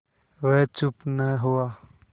वह चुप न हुआ